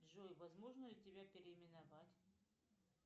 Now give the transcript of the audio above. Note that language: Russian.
джой возможно ли тебя переименовать